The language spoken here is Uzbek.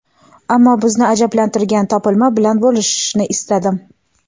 ammo bizni ajablantirgan topilma bilan bo‘lishishni istadim.